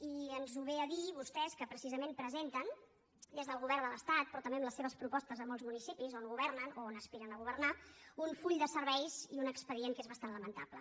i ens ho vénen a dir vostès que precisament presenten des del govern de l’estat però també amb les seves propostes a molts municipis on governen o on aspiren a governar un full de serveis i un expedient que és bastant lamentable